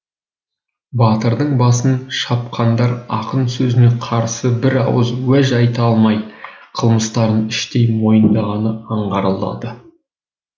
батырдың басын шапқандар ақын сөзіне қарсы бір ауыз уәж айта алмай қылмыстарын іштей мойындағаны аңғарылады